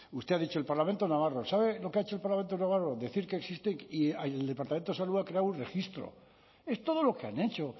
usted ha dicho el parlamento navarro sabe lo que ha hecho el parlamento navarro decir que existe y el departamento de salud ha creado un registro es todo lo que han hecho